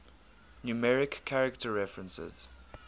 numeric character references